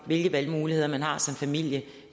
hvilke valgmuligheder man har som familie